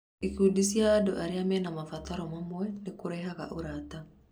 Ikundi cia andũ arĩa mena mabataro mamwe nĩ kũrehaga ũrata.